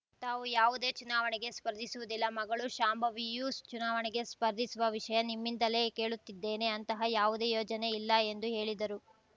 ತಾವು ಯಾವುದೇ ಚುನಾವಣೆಗೆ ಸ್ಪರ್ಧಿಸುವುದಿಲ್ಲ ಮಗಳು ಶಾಂಭವಿಯೂ ಚುನಾವಣೆಗೆ ಸ್ಪರ್ಧಿಸುವ ವಿಷಯ ನಿಮ್ಮಿಂದಲೇ ಕೇಳುತ್ತಿದ್ದೇನೆ ಅಂತಹ ಯಾವುದೇ ಯೋಚನೆ ಇಲ್ಲ ಎಂದು ಹೇಳಿದರು